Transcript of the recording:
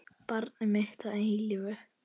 Barn mitt að eilífu.